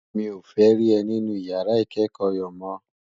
Mi ó fè ri è ninú iyàrá ikèékò yo mò